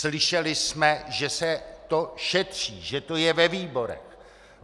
Slyšeli jsme, že se to šetří, že je to ve výborech.